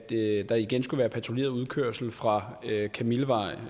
der igen skulle være patruljeret udkørsel fra kamillevej